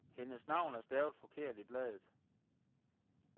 Hendes navn er stavet forkert i bladet.